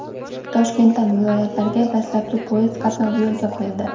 Toshkentdan viloyatlarga dastlabki poyezd qatnovi yo‘lga qo‘yildi.